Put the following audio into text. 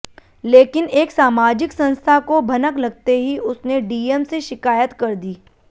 लेकिन एक सामाजिक संस्था को भनक लगते ही उसने डीएम से शिकायत कर दी